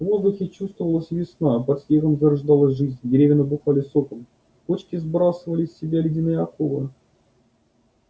в воздухе чувствовалась весна под снегом зарождалась жизнь деревья набухали соком почки сбрасывали с себя ледяные оковы